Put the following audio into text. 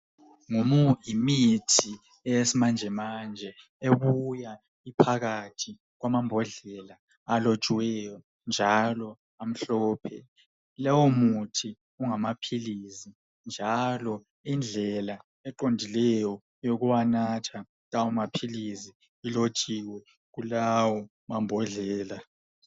Yimithi eya lezinsuku ebuya iphakathi kwembondlela elotshiweyo njalo emhlophe, lowumuthi ungamaphilizi njalo indlela eqondileyo yokunatha lawo maphilizi ilotshiwe kulawo mambhodlela.